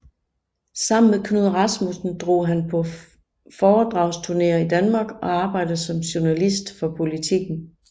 Sammen med Knud Rasmussen drog han på foredragsturneer i Danmark og arbejdede som journalist for Politiken